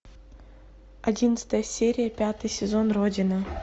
одиннадцатая серия пятый сезон родина